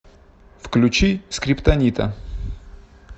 включи скриптонита